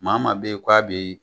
Maa maa bɛ yen k'a bɛ